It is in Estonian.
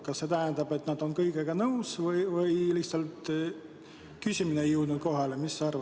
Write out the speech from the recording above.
Kas see tähendab seda, et nad on kõigega nõus, või seda, et küsimus ei jõudnud lihtsalt kohale?